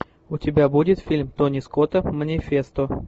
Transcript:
у тебя будет фильм тони скотта манифесто